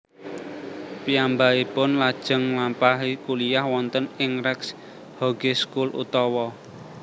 Piyambakipun lajeng nglampahi kuliah wonten ing Recht Hogeschool utawa